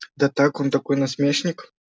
да так он такой насмешник